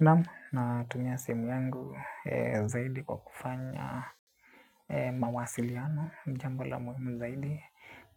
Naam, natumia simu yangu zaidi kwa kufanya mawasiliano ni jambo la muhimu zaidi.